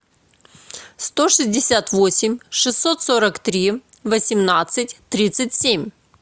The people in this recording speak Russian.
сто шестьдесят восемь шестьсот сорок три восемнадцать тридцать семь